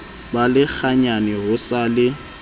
ba lekganyane ho sa le